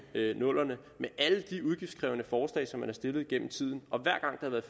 00’erne med alle de udgiftskrævende forslag som man har stillet gennem tiden